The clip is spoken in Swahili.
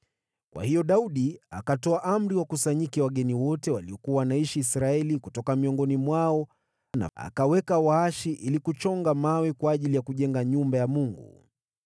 Kwa hiyo Daudi akatoa amri wakusanyike wageni wote waliokuwa wanaishi Israeli, na kutoka miongoni mwao akaweka waashi ili kuchonga mawe kwa ajili ya kujenga nyumba ya Mungu.